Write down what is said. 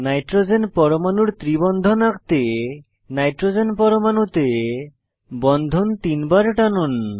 nitrogen পরমাণুর ত্রি বন্ধন আঁকতে নাইট্রোজেন পরমাণুতে বন্ধন তিনবার টানুন